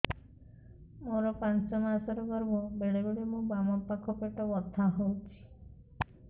ମୋର ପାଞ୍ଚ ମାସ ର ଗର୍ଭ ବେଳେ ବେଳେ ମୋ ବାମ ପାଖ ପେଟ ବଥା ହଉଛି